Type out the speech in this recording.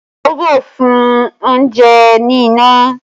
Iyabọ̀ sun oúnjẹ ní iná